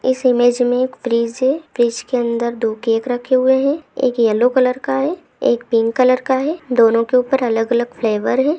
इस इमेज मे एक फ्रिज है फ्रिज के अंदर दो केक रखे हुए है एक येलो कलर का है एक पिंक कलर का है दोनों के ऊपर अलग अलग फ्लेवर हैं।